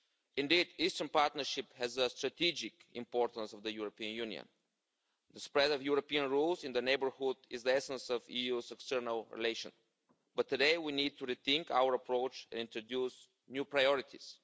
Indeed, the Eastern Partnership has a strategic importance for the European Union, and the spread of European rules in the neighbourhood is the essence of the EU's external relations. But today we need to rethink our approach and to introduce new priorities.